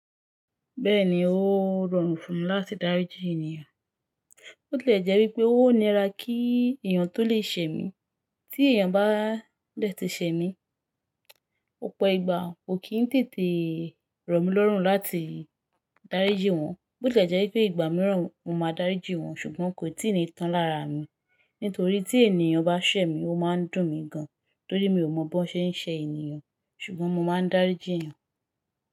Bẹ́ẹ̀ni ó rọrùn fún mi láti dáríji ènìyàn. Ó lè jẹ́ wípé ó nira kí èèyàn tó lè sẹ mí, tí èèyàn bá lè ti sẹ mí, ọ̀pọ ìgbà ó kì í tètè rọ̀ mí lọ́rùn láti dáríji wọn. Bó tí è jẹ́ wípé ìgbà mìíràn mo máa dáríji wọn ṣùgbọ́n kò tíì ní tán lára mi. Nítorí tí èèyàn bá sẹ mí ó máa ń dùn mí gan, torí mi ò mọ̀ bó ṣe ń ṣẹ ènìyàn ṣùgbọ́n mo máa ń dáríji èèyàn.